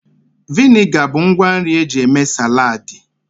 Vịnịga bụ ngwa nri eji eme saladị